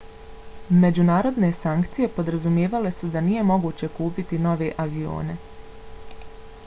međunarodne sankcije podrazumijevale su da nije moguće kupiti nove avione